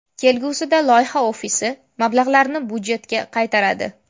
Kelgusida loyiha ofisi mablag‘larni budjetga qaytaradi.